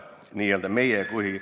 Palun veel kolm minutit!